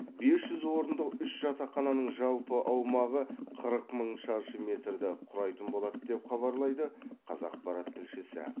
бес жүз орындық үш жатақхананың жалпы аумағы қырық мың шаршы метрді құрайтын болады деп хабарлайды қазақпарат тілшісі